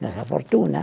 nossa fortuna.